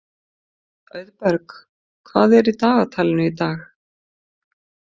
Auðberg, hvað er í dagatalinu í dag?